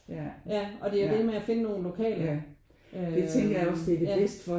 Ja og det er jo det med at finde nogle lokale øh ja